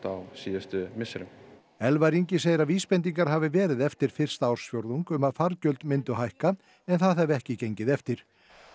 á síðustu misserum Elvar Ingi segir að vísbendingar hafi verið eftir fyrsta ársfjórðung um að fargjöld myndu hækka en það hafi ekki gengið eftir